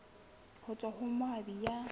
ho tswa ho moabi ya